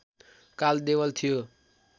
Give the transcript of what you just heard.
काल देवल थियो